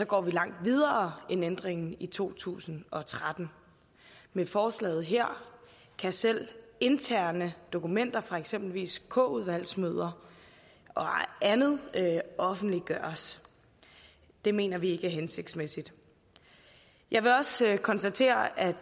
går vi langt videre end ændringen i to tusind og tretten med forslaget her kan selv interne dokumenter fra eksempelvis k udvalgsmøder og andet offentliggøres det mener vi ikke er hensigtsmæssigt jeg vil også konstatere at